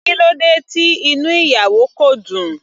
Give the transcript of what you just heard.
Kílódé tí inú ìyàwó kò dùn.